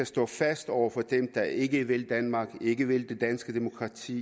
stå fast over for dem der ikke vil danmark ikke vil det danske demokrati